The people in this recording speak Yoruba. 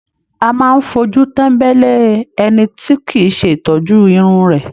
A máa fojú tembele ẹni tí kìí ṣe ìtọ́jú Irun rẹ.